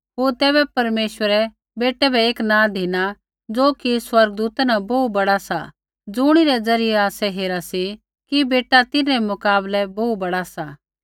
होर तैबै परमेश्वरै बेटै बै एक नाँ धिना ज़ो कि स्वर्गदूता न बोहू बड़ा सा ज़ुणिरै ज़रियै आसै हेरा सी कि बेटा तिन्हरै मुकाबले बोहू बड़ा सा